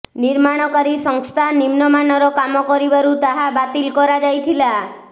ନିର୍ମାଣକାରୀ ସଂସ୍ଥା ନିମ୍ନମାନର କାମ କରିବାରୁ ତାହା ବାତିିଲ କରାଯାଇଥିଲା